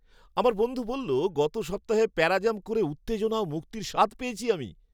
আমার বন্ধু বলল, "গত সপ্তাহে প্যারাজাম্প করে উত্তেজনা ও মুক্তির স্বাদ পেয়েছি আমি।"